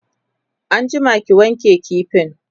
an jima ki wanke kifin!